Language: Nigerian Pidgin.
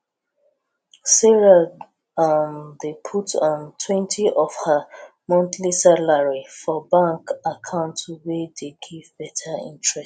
sarah um dey put [um]twentyof her monthly salari for bank account wey dey give beta interest